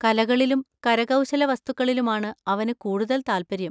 കലകളിലും കരകൗശലവസ്തുക്കളിലുമാണ് അവന് കൂടുതൽ താൽപ്പര്യം.